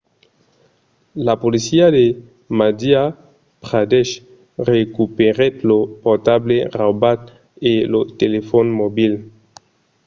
la polícia de madhya pradesh recuperèt lo portable raubat e lo telefòn mobil